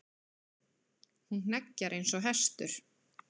Hún hneggjar eins og hestur.